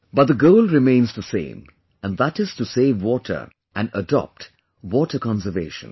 But the goal remains the same, and that is to save water and adopt water conservation